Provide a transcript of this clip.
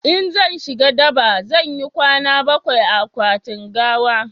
in zan shiga daba zan yi kwana bakwai a akwatin gawa